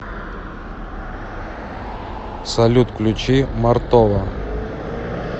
салют включи мартова